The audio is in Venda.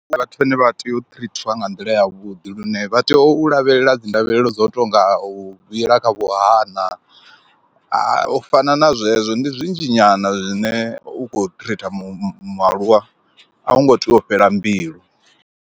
Ndi vhathu vhane vha tea u trithiwa nga nḓila yavhuḓi lune vha tea u lavhelela dzi ndavhelelo dzo tonga u vhila kha vhuhana u fana na zwezwo, ndi zwinzhi nyana zwine u khou tritha mualuwa a u ngo tea u fhela mbilu.